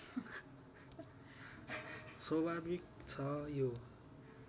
स्वाभाविक छ यो